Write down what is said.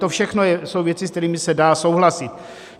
To všechno jsou věci, se kterými se dá souhlasit.